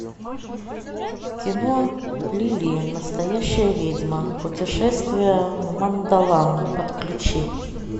кино лили настоящая ведьма путешествие в мандалан подключи